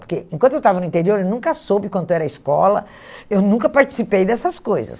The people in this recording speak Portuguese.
Porque enquanto eu estava no interior, ele nunca soube quanto era a escola, eu nunca participei dessas coisas.